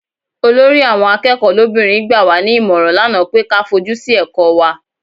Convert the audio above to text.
Olórí àwọn akẹ́kọ̀ọ́ lóbìnrin gbà wá ní ìmọ̀ràn lánàá pé ka fojú sí ẹ̀kọ́ wa.